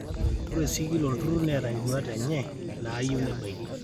ore sii kila olturrur neeta induaat enye naayieu nebaiki